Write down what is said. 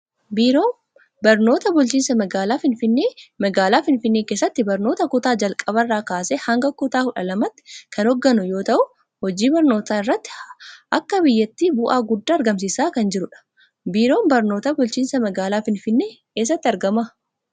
Biiroon Barnoota Bulchinsa Magaalaa Finfinnee magaalaa Finfinnee keessatti barnoota kutaa jalqabaarraa kaasee hanga kutaa kudha lamaatti kan hoogganu yoo ta'u, hojii barnootaa irratti akka biyyatti bu'aa guddaa argamsiisaa kan jirudha. Biiroon Barnoota Bulchinsa Magaalaa Finfinnee eessatti argama?